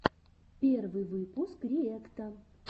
первый выпуск риэкта